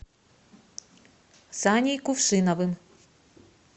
саней кувшиновым